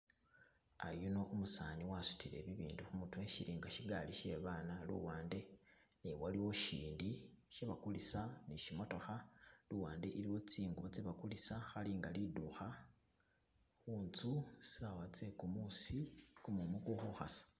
Yuno umusani wasudile bibindu khumutwe shili nga shigaali she babana luwande naye waliwo shindi shebagulisa ni shimotokha luwande iliwo tsingubo tse bagulisa khalinga lidukha khutsu sawa tse gumuusi gumumu guli khukhasa